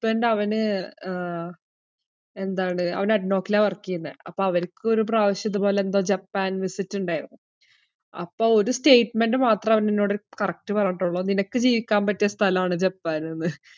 husband അവന് ആഹ് എന്താണ് അവൻ അഡ്നോക്കിലാ work എയ്യുന്നേ. അപ്പോ അവരിക്ക് ഒരു പ്രാവശ്യം ഇതുപോലെന്തോ ജപ്പാൻ visit ഇണ്ടായിരുന്നു. അപ്പോ ഒരു statement മാത്രം അവൻ എന്നോടോര് correct പറഞ്ഞിട്ടുള്ളൂ. നിനക്ക് ജീവിക്കാൻ പറ്റിയ സ്ഥലാണ് ജപ്പാനെന്ന്.